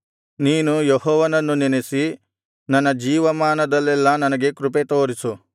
ನೀನು ಯೆಹೋವನನ್ನು ನೆನಸಿ ನನ್ನ ಜೀವಮಾನದಲ್ಲೆಲ್ಲಾ ನನಗೆ ಕೃಪೆತೋರಿಸು